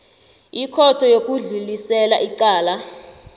ikhotho yokudlulisela icala